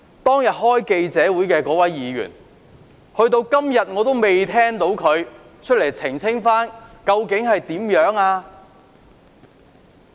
當天召開記者招待會的議員，直至今天我仍未聽到他公開澄清究竟情況為何？